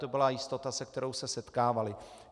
To byla jistota, se kterou se setkávaly.